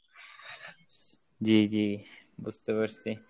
জি জি বুজতে পারছি।